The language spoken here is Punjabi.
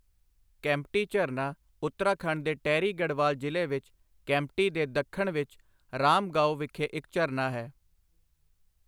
ਕੈਂਪਟੀ ਝਰਨਾ ਉੱਤਰਾਖੰਡ ਦੇ ਟਿਹਰੀ ਗੜ੍ਹਵਾਲ ਜ਼ਿਲ੍ਹੇ ਵਿੱਚ ਕੈਂਪਟੀ ਦੇ ਦੱਖਣ ਵਿੱਚ ਰਾਮ ਗਾਓਂ ਵਿਖੇ ਇੱਕ ਝਰਨਾ ਹੈ।